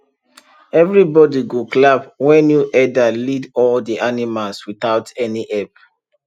everybody go clap when new herder lead all the animals without any help